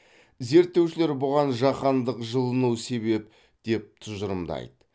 зерттеушілер бұған жаһандық жылыну себеп деп тұжырымдайды